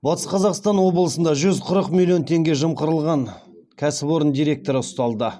батыс қазақстан облысында жүз қырық миллион теңге жымқырған кәсіпорын директоры ұсталды